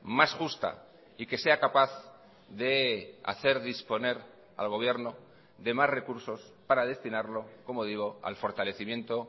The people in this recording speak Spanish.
más justa y que sea capaz de hacer disponer al gobierno de más recursos para destinarlo como digo al fortalecimiento